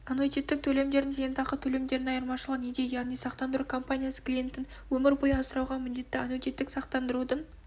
аннуитеттік төлемдердің зейнетақы төлемдерінен айырмашылығы неде яғни сақтандыру компаниясы клиентін өмір бойы асырауға міндетті аннуитеттік сақтандырудың